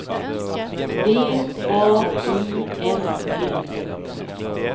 D A I S Y